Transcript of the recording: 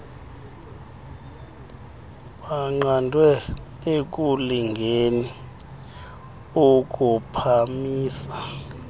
baqandwe ekulingeni ukuphamisa